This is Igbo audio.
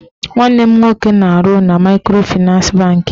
Nwanne m nwoke na-arụ na maịkrofịnans bankị